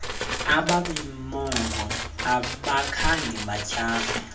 abemibongo abakhange batyhafe